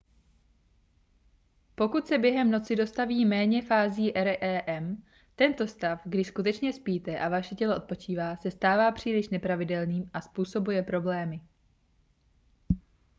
pokud se během noci dostaví méně fází rem tento stav kdy skutečně spíte a vaše tělo odpočívá se stává příliš nepravidelným a způsobuje problémy